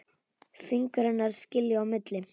Fingur hennar skilja á milli.